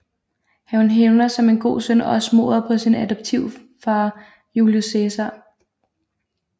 Han hævner som en god søn også mordet på sin adoptivfar Julius Cæsar